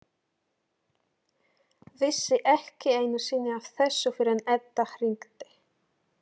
Vissi ekki einu sinni af þessu fyrr en Edda hringdi.